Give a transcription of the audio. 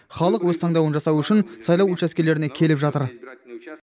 халық өз таңдауын жасау үшін сайлау учаскелеріне келіп жатыр